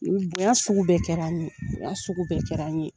Bonya sugu bɛɛ kɛra ne ye bonya sugu bɛɛ kɛra ne ye